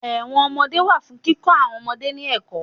Ẹ̀wọ̀n ọmọdé máa ń wà fún kíkọ àwọn ọmọdé ní ẹ̀kọ́